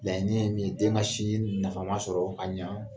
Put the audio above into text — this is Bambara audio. Mɛ ne ye min ye den ka sinji nafama sɔrɔ ka ɲan